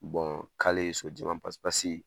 Kale ye so jɛma pasi pasi